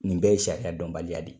Nin bɛɛ ye sariya dɔnbaliya de ye